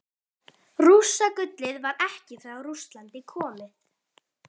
Rússagullið var ekki frá Rússlandi komið.